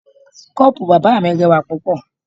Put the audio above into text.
Koopu bàbá mi rẹwà púpọ̀.